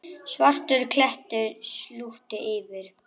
Svartur klettur slútti yfir.